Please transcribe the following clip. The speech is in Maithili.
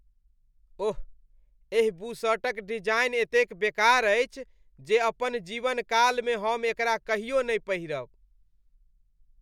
ओह! एहि बुशर्टक डिजाइन एतेक बेकार अछि जे अपन जीवनकालमे हम एकरा कहियो नहि पहिरब।